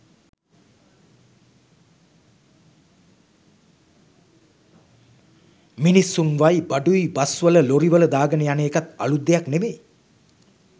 මිනිස්‌සුන්වයි බඩුයි බස්‌වල ලොරිවල දාගෙන යන එකත් අලුත් දෙයක්‌ නෙමෙයි.